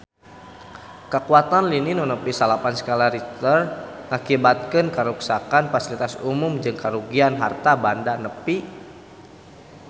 Kakuatan lini nu nepi salapan skala Richter ngakibatkeun karuksakan pasilitas umum jeung karugian harta banda nepi ka 10 juta rupiah